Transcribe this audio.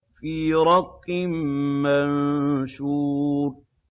فِي رَقٍّ مَّنشُورٍ